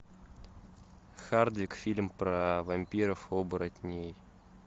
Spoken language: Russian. хардик фильм про вампиров оборотней